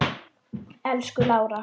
Elsku Lára.